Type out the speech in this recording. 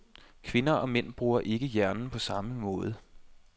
Kvinder og mænd bruger ikke hjernen på samme måde.